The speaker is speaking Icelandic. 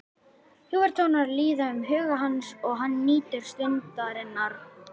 Ljúfir tónar líða um huga hans og hann nýtur stundarinnar.